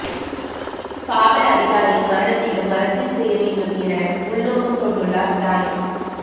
காவல் அதிகாரி மரணத்திலும் அரசியல் செய்ய வேண்டும் என உள்நோக்கம் கொண்டுள்ளார் ஸ்டாலின்